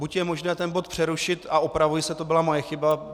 Buď je možné ten bod přerušit - a opravuji se, to byla moje chyba.